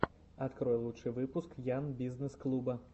открой лучший выпуск ян бизнесс клуба